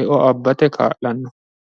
eo abbate kaa'lanno.